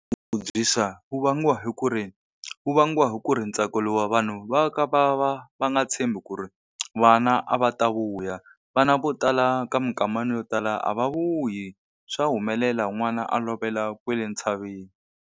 Wu vangiwa hi ku ri, wu vangiwa hi ku ri ntsako vanhu va ka va va va nga tshembi ku ri vana a va ta vuya. Vana vo tala ka minkama yo tala a va vuyi swa humelela n'wana a lovela kwale ntshaveni.